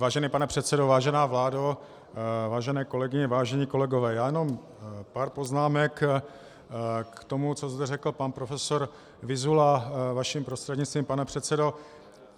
Vážený pane předsedo, vážená vládo, vážené kolegyně, vážení kolegové, já jenom pár poznámek k tomu, co zde řekl pan profesor Vyzula, vaším prostřednictvím, pane předsedo.